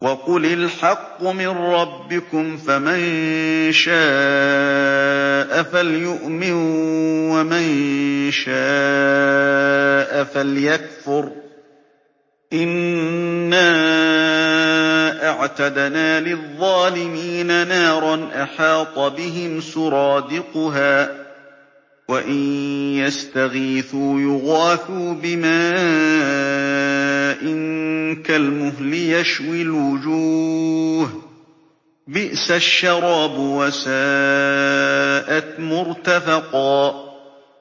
وَقُلِ الْحَقُّ مِن رَّبِّكُمْ ۖ فَمَن شَاءَ فَلْيُؤْمِن وَمَن شَاءَ فَلْيَكْفُرْ ۚ إِنَّا أَعْتَدْنَا لِلظَّالِمِينَ نَارًا أَحَاطَ بِهِمْ سُرَادِقُهَا ۚ وَإِن يَسْتَغِيثُوا يُغَاثُوا بِمَاءٍ كَالْمُهْلِ يَشْوِي الْوُجُوهَ ۚ بِئْسَ الشَّرَابُ وَسَاءَتْ مُرْتَفَقًا